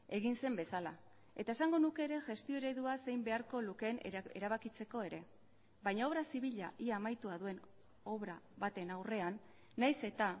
egin zen bezala eta esango nuke ere gestio eredua zein beharko lukeen erabakitzeko ere baina obra zibila ia amaitua duen obra baten aurrean nahiz eta